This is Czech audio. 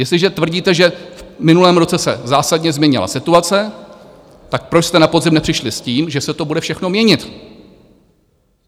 Jestliže tvrdíte, že v minulém roce se zásadně změnila situace, tak proč jste na podzim nepřišli s tím, že se to bude všechno měnit?